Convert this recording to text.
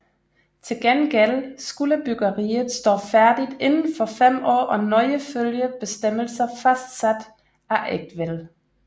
Til gengæld skulle byggeriet stå færdigt inden for fem år og nøje følge bestemmelser fastsat af Eigtved